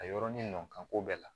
A yɔrɔnin dɔn ka ko bɛɛ la